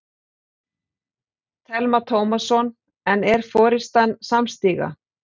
Telma Tómasson: En er forystan samstíga?